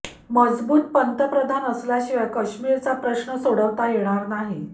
मजबूत पंतप्रधान असल्याशिवाय कश्मीरचा प्रश्न सोडवता येणार नाही